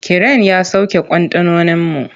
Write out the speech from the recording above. Kiren ya sauke kwantenoninmu.